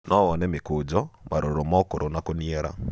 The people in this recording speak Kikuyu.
no wone mĩkũjo, maroro ma ũkũrũ na kũniara